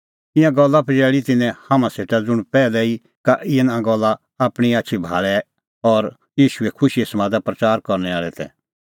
ईंयां गल्ला पजैल़ी तिन्नैं हाम्हां सेटा ज़ुंण पैहलै ई का तिन्नां गल्ला आपणीं आछी भाल़णैं आल़ै और ईशूए खुशीए समाद प्रच़ार करनै आल़ै तै